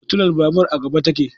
Fitilar babur a gaba ta ke